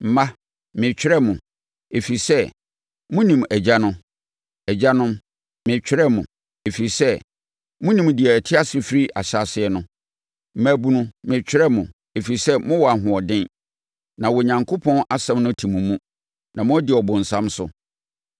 Mma, meretwerɛ mo, ɛfiri sɛ, monim Agya no. Agyanom, meretwerɛ mo, ɛfiri sɛ, monim deɛ ɔte ase firi ahyɛaseɛ no. Mmabunu, meretwerɛ mo, ɛfiri sɛ, mowɔ ahoɔden, na Onyankopɔn asɛm no te mo mu, na moadi ɔbonsam so.